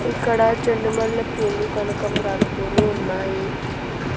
ఇక్కడ చెండుమల్లెపూలు కనకంబరాలు పూలు ఉన్నాయి.